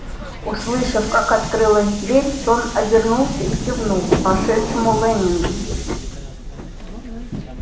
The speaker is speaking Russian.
услышав как открылась дверь тон обернулся и кивнул вошедшему лэннингу